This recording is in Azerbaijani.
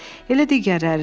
Elə digərləri də.